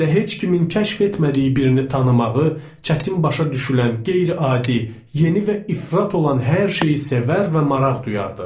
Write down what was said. Hələ heç kimin kəşf etmədiyi birini tanımağı, çətin başa düşülən qeyri-adi, yeni və ifrat olan hər şeyi sevər və maraq duyardıq.